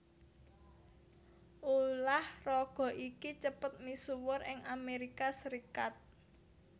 Ulah raga iki cepet misuwur ing Amerika Serikat